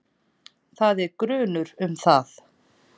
Það er grunur um það.